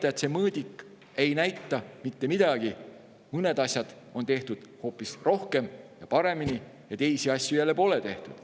Seda, et see mõõdik ei näita mitte midagi, mõnda asja on tehtud hoopis rohkem ja paremini, aga teisi asju jälle pole tehtud.